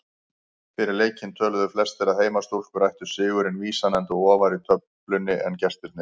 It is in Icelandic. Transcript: Fyrir leikinn töluðu flestir að heimastúlkur ættu sigurinn vísan enda ofar í töflunni en gestirnir.